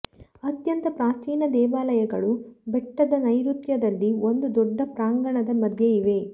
ಅತ್ಯಂತ ಪ್ರಾಚೀನ ದೇವಾಲಯಗಳು ಬೆಟ್ಟದ ನೈಋತ್ಯದಲ್ಲಿ ಒಂದು ದೊಡ್ಡ ಪ್ರಾಂಗಣದ ಮಧ್ಯೆ ಇವೆ